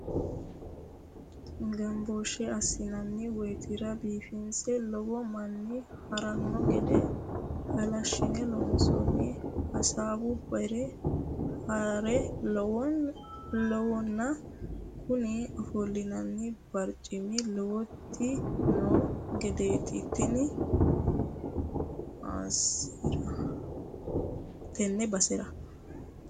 Gambooshe assi'nanni woytira biifinse lowo manna haarano gede halashine loonsoni hasaawu bare hara lawano kuni ofolinanni baricimano lowoti no gedeti tene basera.